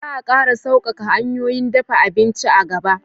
Za a ƙara sauƙaƙa hanyoyin dafa abinci a gaba